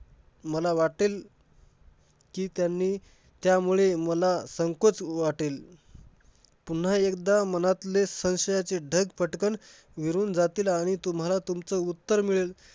मला वाटेल कि त्यांनी त्यामुळे मला संकोच वाटेल. पुन्हा एकदा मनातले संशयाचे ढग पटकन विरून जातील आणि तुम्हाला तुमचं उत्तर मिळेल.